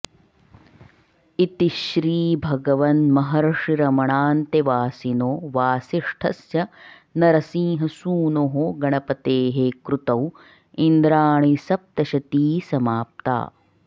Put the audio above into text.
इति श्रीभगवन्महर्षिरमणान्तेवासिनो वासिष्ठस्य नरसिंहसूनोः गणपतेः कृतौ इन्द्राणीसप्तशती समाप्ता